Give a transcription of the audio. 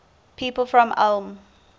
people from ulm